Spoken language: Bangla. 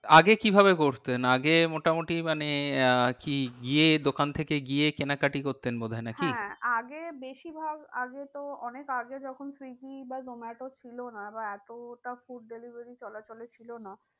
আগে কি ভাবে করতেন? আগে মোটামুটি মানে আহ কি গিয়ে দোকান থেকে গিয়ে কেনা কাটি করতেন বোধ হয় না কি? হ্যাঁ আগে বেশি ভাগ আগে তো অনেক আগে যখন সুইগী বা জোমাটো ছিল না বা এতটা food delivery চলা চলে ছিল না।